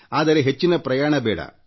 ಆದರೆ ಹೆಚ್ಚಿನ ಪ್ರಯಾಣ ಬೇಡ